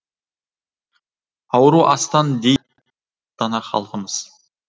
ауру астан дейді дана халқымыз